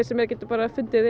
sem er geti fundið